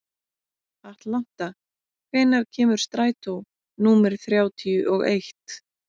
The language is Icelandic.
Atlanta, hvenær kemur strætó númer þrjátíu og eitt?